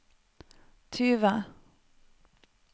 tyve